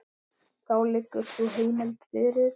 Þá liggur sú heimild fyrir.